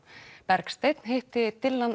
Bergsteinn hitti Dylan